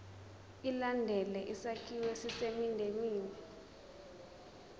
ilandele isakhiwo esisendimeni